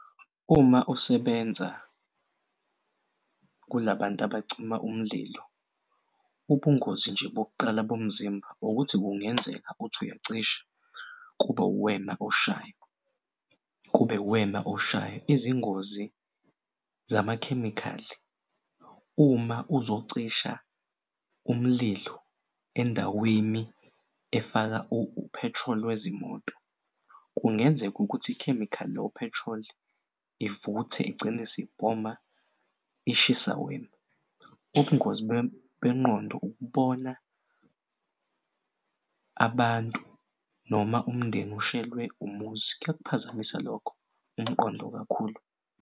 Uma usebenza kulabantu abacima umlilo, ubungozi nje bokuqala bomzimba ukuthi kungenzeka uthi uyacisha kube uwena oshayo izingozi zamakhemikhali. Uma uzocisha umlilo endaweni efaka u-petrol wezimoto kungenzeka ukuthi ikhemikhali lo-petrol ivuthe igcine isibhoma ishisa wena. Ubungozi bengqondo ukubona abantu noma umndeni ushelwe umuzi. Kuyawuphazamisa lokho umqondo kakhulu.